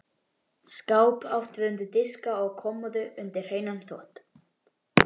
Svo hvolfdi hann því í sig.